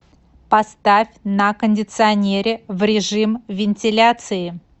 поставь на кондиционере в режим вентиляции